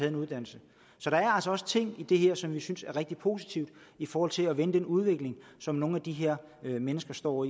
en uddannelse så der er altså også ting i det her som vi synes er rigtig positivt i forhold til at vende den udvikling som nogle af de her mennesker står